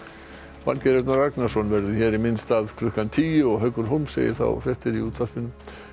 Valgeir Örn Ragnarsson verður hér í minn stað klukkan tíu og Haukur segir þá fréttir í útvarpinu